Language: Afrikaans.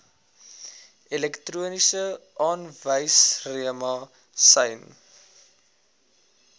elektroniese aanwyserma sjien